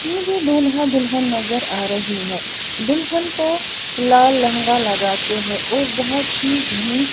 मुझे दूल्हा दुल्हन नजर आ रही है दुल्हन को लाल लहंगा लगा के है और बहुत ही घनी--